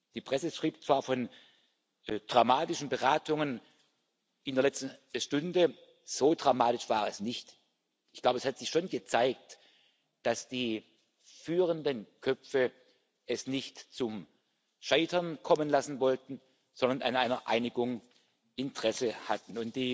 Die Presse schrieb zwar von dramatischen Beratungen in der letzten Stunde so dramatisch war es nicht. Ich glaube, es hat sich schon gezeigt, dass die führenden Köpfe es nicht zum Scheitern kommen lassen wollten, sondern an einer Einigung Interesse hatten.